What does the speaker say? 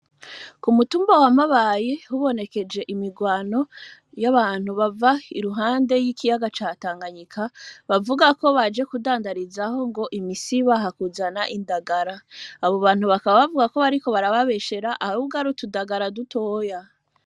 Ku mutumba wamabaye hubonekeje imirwano y'abantu bava iruhande y'ikiyaga catanganyika bavuga ko baje kudandarizaho ngo imisi baha kuzana indagara abo bantu bakaba bavuga ko bariko barababeshera ab ubwo ari utudagara dutoya.